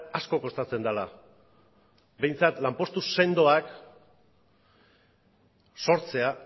asko kostatzen dela behintzat lanpostu sendoak sortzea